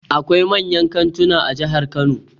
Akwai manyan kantuna a jihar Kano.